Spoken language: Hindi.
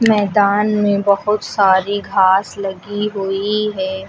मैदान में बहुत सारी घास लगी हुई है।